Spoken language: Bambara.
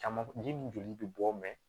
Caman ji min joli bɛ bɔ